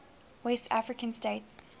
west african states